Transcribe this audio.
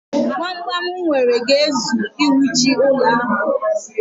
Gbamgbam m nwere ga-ezu iwuchi ụlọ ahụ.